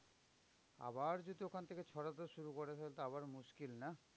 আবার যদি ওখান থেকে ছড়াতে শুরু করে তাহলে তো আবার মুশকিল না?